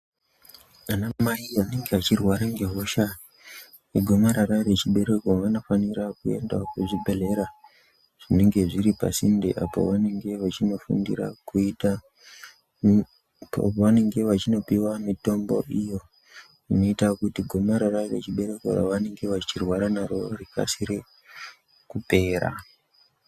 Ana mai anenge achirwara nehosha yegomarara rechibereko vanofanira kuendawo kuzvibhehlera zvinenge zviri pasinde apo pavanenge vachinopiwa mutombo iyo inoita kuti gomarara rechibereko ravanenge vachirwara naro rikasire kupera.